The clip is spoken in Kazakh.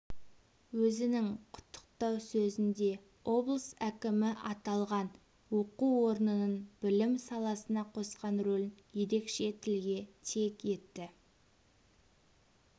өзінің құттықтау сөзінде облыс әкімі аталған оқу орнының білім саласына қосқан рөлін ерекше тілге тиек етті